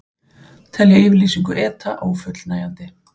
Telja yfirlýsingu ETA ófullnægjandi